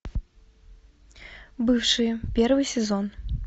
бывшие первый сезон